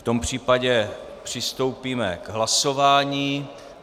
V tom případě přistoupíme k hlasování.